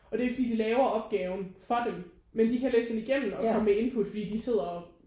Og det er jo ikke fordi de laver opgaven for dem men de kan læse den igennem og komme med indput fordi de sidder og